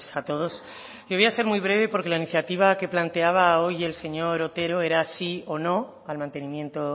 a todos yo voy a ser muy breve porque la iniciativa que planteaba hoy el señor otero era sí o no al mantenimiento